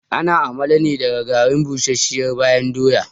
Ana amala ne daga garin busasshiyar bayan doya